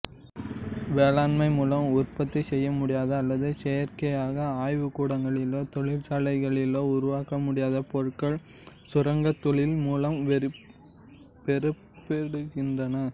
வேளாண்மை மூலம் உற்பத்தி செய்யமுடியாத அல்லது செயற்கையாக ஆய்வுகூடங்களிலோ தொழிற்சாலைகளிலோ உருவாக்க முடியாத பொருட்கள் சுரங்கத் தொழில் மூலம் பெறப்படுகின்றன